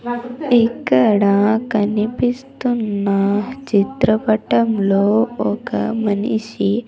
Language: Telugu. ఇక్కడా కనిపిస్తున్న చిత్రపటంలో ఒక మనిషి--